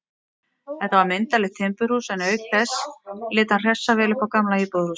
Þetta var myndarlegt timburhús, en auk þess lét hann hressa vel upp á gamla íbúðarhúsið.